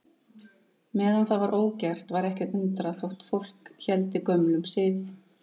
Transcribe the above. Meðan það var ógert var ekki að undra þótt fólk héldi gömlum sið.